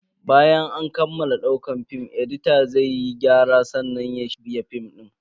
Bayan an kammala daukar film, edita zai yi gyara sannan ya shirya film din.